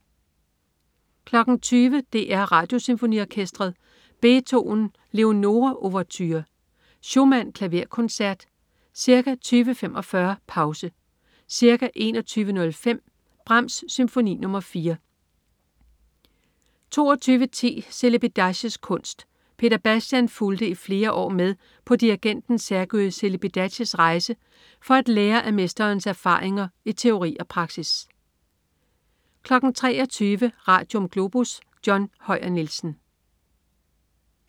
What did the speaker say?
20.00 DR Radiosymfoniorkestret. Beethoven: Leonore ouverture. Schumann: Klaverkoncert. Ca. 20.45: Pause. Ca. 21.05: Brahms: Symfoni nr. 4 22.10 Celibidaches kunst. Peter Bastian fulgte i flere år med på dirigenten Sergiu Celibidaches rejser for at lære af mesterens erfaringer i teori og praksis 23.00 Radium. Globus. John Høyer Nielsen